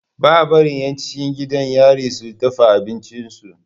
Baa barin yan cikin gidan yari su dafa abincin su